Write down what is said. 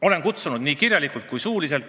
Olen teda kutsunud nii kirjalikult kui suuliselt.